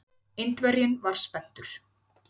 Indverjinn var spenntur.